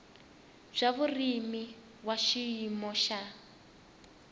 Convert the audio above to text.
bya vurimi wa xiyimo xa